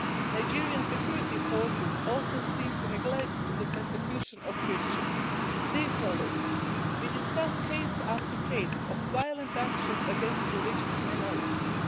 Nigerian security forces often seem to neglect the persecution of Christians. We discuss case after case of violent actions against religious minorities.